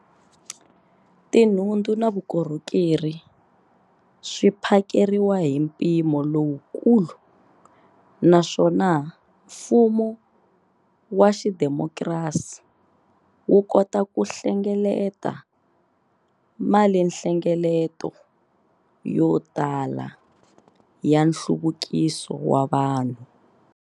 Tinhundzu na vukorhokeri swi phakeriwa hi mpimo lowukulu naswona mfumo wa xidemokirasi wu kota ku hlengeleta malinhlengeleto yo tala ya nhluvukiso wa vanhu.